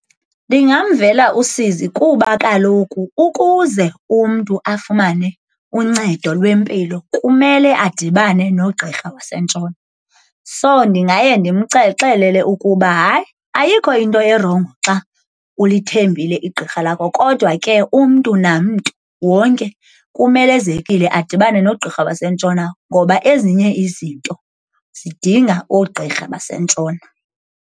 Ndingamvela usizi kuba kaloku ukuze umntu afumane uncedo lwempilo kumele adibane nogqirha wasentshona. So, ndingaye ndimxelele ukuba hayi, ayikho into erongo xa ulithembile igqirha lakho, kodwa ke umntu namntu wonke kumelezekile adibane nogqirha wasentshona ngoba ezinye izinto zidinga oogqirha basentshona.